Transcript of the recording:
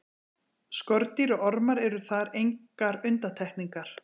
Skordýr og ormar eru þar engar undantekningar.